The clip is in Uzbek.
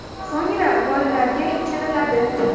So‘ngra bolalarga ichiriladi.